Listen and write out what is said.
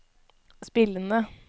spillende